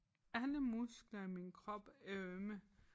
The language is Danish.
Alle muskler i min krop er ømme